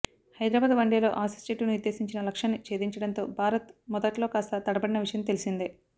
హైదరాబాద్ వన్డేలో ఆసిస్ జట్టు నిర్దేశించిన లక్ష్యాన్ని చేధించడంతో భారత్ మొదట్లో కాస్త తడబడిన విషయం తెలిసిందే